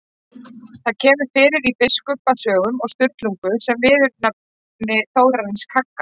Það kemur fyrir í Biskupasögum og Sturlungu sem viðurnefni Þórarins kagga.